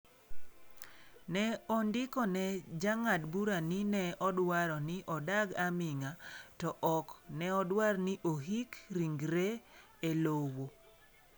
Ne ondiko ne jang'ad bura ni ne odwaro ni "odag aming'a" to ok neodwar ni ohik rigre e lowo.